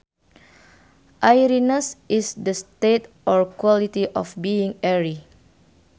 Airiness is the state or quality of being airy